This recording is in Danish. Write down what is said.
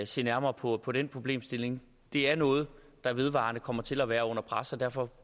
se nærmere på på den problemstilling det er noget der vedvarende kommer til at være under pres og derfor